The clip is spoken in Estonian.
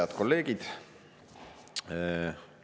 Head kolleegid!